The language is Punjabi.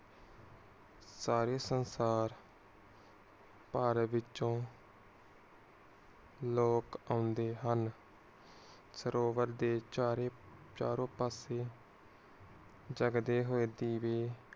ਸਾਰੇ ਸੰਸਾਰ ਭਾਰਤ ਵਿੱਚੋ ਲੋਕ ਓਂਦੇ ਹਨ। ਸਰੋਵਰ ਦੇ ਚਾਰੇ ਚਾਰੋ ਪਾਸੇ ਜਾਗਦੇ ਹੋਏ ਦੀਵੇ।